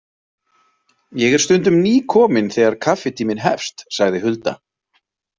Ég er stundum nýkomin þegar kaffitíminn hefst, sagði Hulda.